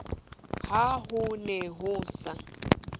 ha ho ne ho sa